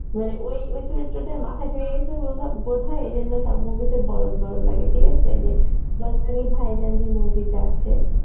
মানে ওই ওই চরিত্রটা মাথায় ঢুকে গেছে বলা~ বোধহয় এইজন্যে সব movie তে বলধ বলধ লাগে ঠিক আসে যে বজরঙ্গী ভাইজান যে movie টা আছে